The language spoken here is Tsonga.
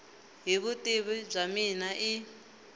hi vutivi bya mina i